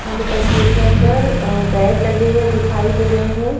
हमें तस्वीर के अंदर बेड लगे हुए दिखाई दे रहे हैं।